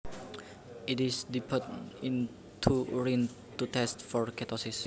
It is dipped into urine to test for ketosis